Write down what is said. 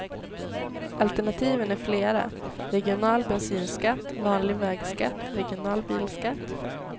Alternativen är flera, regional bensinskatt, vanlig vägskatt, regional bilskatt.